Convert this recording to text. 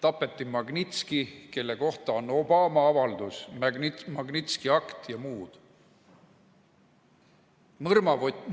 Tapeti Magnitski, kelle kohta on Obama avaldus ja Magnitsky Act jne,